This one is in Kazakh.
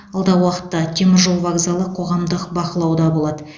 алдағы уақытта теміржол вокзалы қоғамдық бақылауда болады